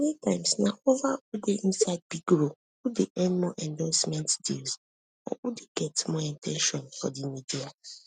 many times na ova who dey inside big role who dey earn more endorsement deals or who dey get more at ten tion from di media